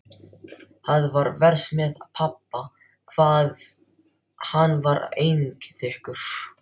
Það var verst með pabba hvað hann var einþykkur.